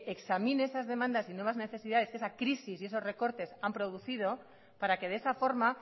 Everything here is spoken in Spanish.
examine esas demandas y nuevas necesidades que esa crisis y esos recortes han producido para que de esa forma